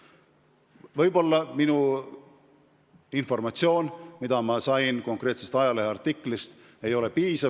Võib-olla informatsioon, mis ma sain konkreetsest leheartiklist, ei ole piisav.